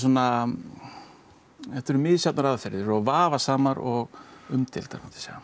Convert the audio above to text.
þetta eru misjafnar aðferðir og vafasamar og umdeildar